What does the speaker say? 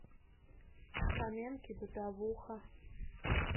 хоменки бытовуха